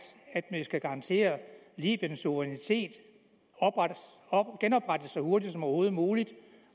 at vi skal garantere at libyens suverænitet genoprettes så hurtigt som overhovedet muligt